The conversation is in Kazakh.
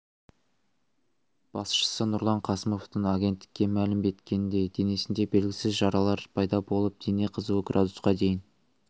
басшысы нұрлан қасымовтың агенттікке мәлім еткеніндей денесінде белгісіз жаралар пайда болып дене қызуы градусқа дейін